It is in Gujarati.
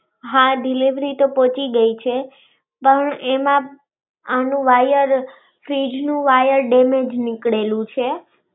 હાં, deleivery તો પહુંચી ગયી છે. પણ એમાં એનું wire fridge નું wire damage નીકળેલું છે.